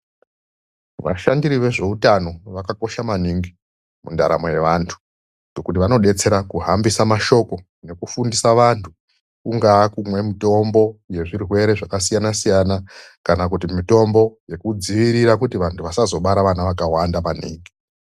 Vashandiri vezvehutano vakakosha maningi mundaramo yevantu .Nekuti vanobetsera kuhambisa mashoko nekufundisa vantu. Kungave kumwa mutombo yezvirwere zvakasisina -siyana kana kuti mitombo yekudziirira kuti vantu vasazobara vana vakawanda maningi.